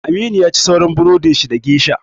Aminu yaci sauran burodin shi da geisha